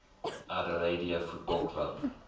adelaide football club